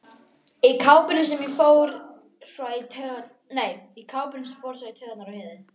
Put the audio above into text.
Í kápunni sem fór svo í taugarnar á Heiðu.